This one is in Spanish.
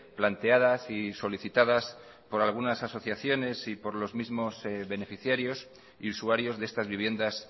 planteadas y solicitadas por algunas asociaciones y por los mismos beneficiarios y usuarios de estas viviendas